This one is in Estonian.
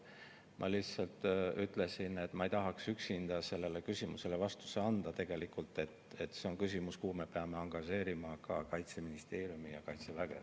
Ma lihtsalt ütlesin, et ma ei tahaks üksinda sellele küsimusele vastust anda, sest see on küsimus, kuhu me peame angažeerima ka Kaitseministeeriumi ja Kaitseväge.